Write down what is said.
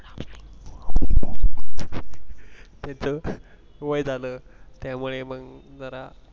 वय झालं त्यामुळे मग जरा